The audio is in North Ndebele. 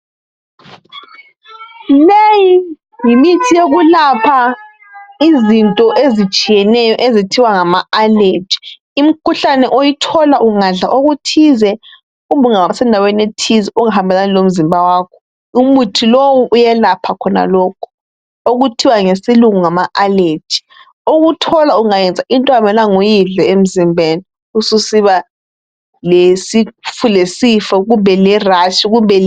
Leyi yimithi eyokulapha izinto ezitshiyeneyo ezithiwa ngama allergy. Imikhuhlane oyithola ungadla okuthize kumbe ungaba sendaweni ethize okungahambelani lomzimba wakho. Umuthi lowu uyelapha khonalokhu okuthiwa ngesilungu ngama allergy okuthola ungadla into okungamelanga uyidle emzimbeni ubesusiba lesifo kumbe lerash.